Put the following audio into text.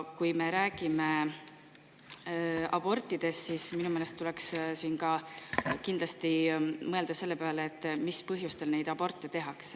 Kui me räägime abortidest, siis minu meelest tuleks kindlasti mõelda ka selle peale, mis põhjustel aborte tehakse.